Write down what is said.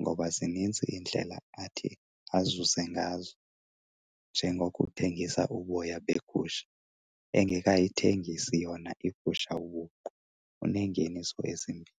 ngoba zininzi iindlela athi azuze ngazo, njengokuthengisa uboya begusha engekayithengisi yona igusha ubuqu. Uneengeniso ezimbini.